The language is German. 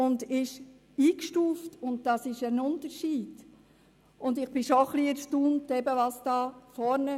Ich bin erstaunt über die teilweise falschen Ausführungen;